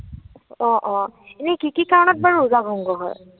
অ, অ। এনেই কি কি কাৰণত বাৰু ৰোজা ভঙ্গ হয়?